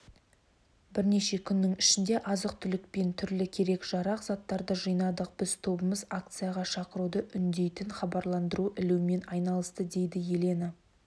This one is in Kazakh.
бірнеше күннің ішінде азық-түлік пен түрлі керек-жарақ заттарды жинадық бір тобымыз акцияға шақыруды үндейтін хабарландыру ілумен айналысты дейді елена